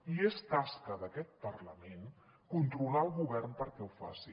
i és tasca d’aquest parlament controlar el govern perquè ho faci